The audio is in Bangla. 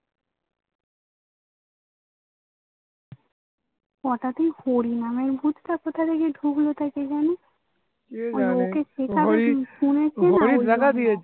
হটাৎ এই হরিনামের ভুতটা কোথা থেকে ঢুকলো তা কে জানে